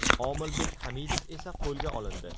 Omilbek Hamidov esa qo‘lga olindi.